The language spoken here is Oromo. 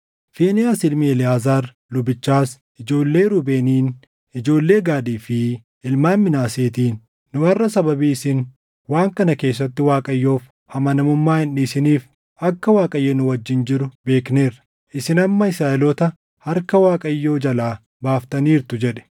Fiinehaas ilmi Eleʼaazaar lubichaas ijoollee Ruubeeniin, ijoollee Gaadii fi ilmaan Minaaseetiin, “Nu harʼa sababii isin waan kana keessatti Waaqayyoof amanamummaa hin dhiisiniif akka Waaqayyo nu wajjin jiru beekneerra. Isin amma Israaʼeloota harka Waaqayyoo jalaa baaftaniirtu” jedhe.